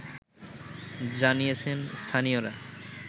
জানিয়েছেন স্থানীয়রা